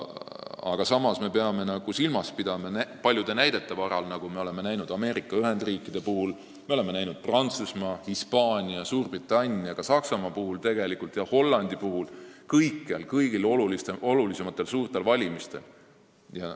Samas me peame silmas pidama seda, mida me oleme näinud näiteks Ameerika Ühendriikide, Prantsusmaa, Hispaania, Suurbritannia ja Saksamaa, tegelikult ka Hollandi valimistel – kõigil olulisematel, n-ö suurtel valimistel.